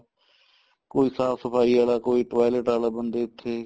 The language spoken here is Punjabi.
ਕੋਈ ਸਾਫ਼ ਸਫਾਈ ਵਾਲਾ ਕੋਈ toilet ਵਾਲਾ ਬਣਦਾ ਇੱਥੇ